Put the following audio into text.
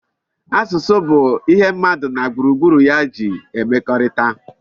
Asụsụ bụ ihe mmadụ na gburugburu ya ji emekọrịta